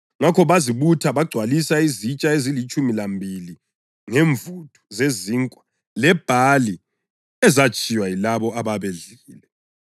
Ngakho bazibutha bagcwalisa izitsha ezilitshumi lambili ngemvuthu zezinkwa zebhali ezatshiywa yilabo ababedlile.